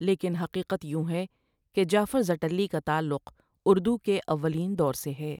لیکن حقیقت یوں ہے کہ جعفر زٹلی کا تعلق اردو کے اولین دور سے ہے۔